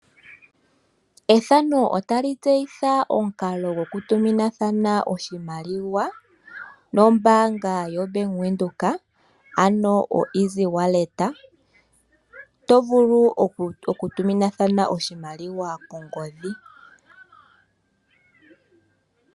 Ethano otali tseyi omukalo ngoka gokutuma oshimaliwa nombanga yobank Windhoek .Omukalo ngoka hagu ithanwa (easy wallet) hoka tovulu okutumina omupambele goye nenge kuume koye kongodhi.